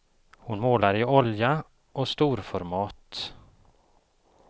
Hon målar i olja och storformat.